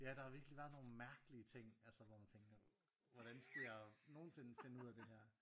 Ja der har virkelig været nogle mærkelige ting altså hvor man tænker hvordan skulle jeg nogensinde finde ud af det her